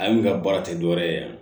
Ale ka baara tɛ dɔwɛrɛ ye